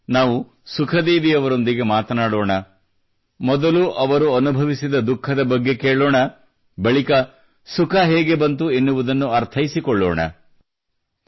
ಬನ್ನಿ ನಾವು ಸುಖ ದೇವಿ ಅವರೊಂದಿಗೆ ಮಾತನಾಡೋಣ ಮೊದಲು ಅವರು ಅನುಭವಿಸಿದ ದುಃಖದ ಬಗ್ಗೆ ಕೇಳೋಣ ಬಳಿಕ ಸುಖ ಹೇಗೆ ಬಂತು ಎನ್ನುವುದನ್ನು ಅರ್ಥೈಸಿಕೊಳ್ಳೋಣ